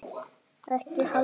Ekki Halldís